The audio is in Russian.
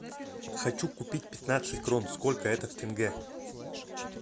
хочу купить пятнадцать крон сколько это в тенге